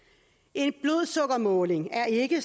en blodsukkermåling er ikke